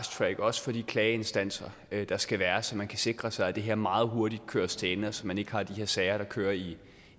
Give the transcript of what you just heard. sager også for de klageinstanser der skal være så man kan sikre sig at det her meget hurtigt køres til ende så man ikke har de her sager der kører i